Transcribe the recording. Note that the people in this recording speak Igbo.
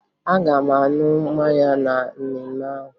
Aga m aṅụ mmanya na mmemme ahụ